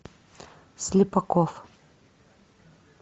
слепаков